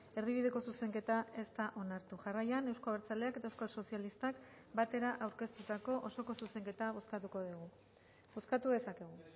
erdibideko zuzenketa ez da onartu jarraian euzko abertzaleak eta euskal sozialistak batera aurkeztutako osoko zuzenketa bozkatuko dugu bozkatu dezakegu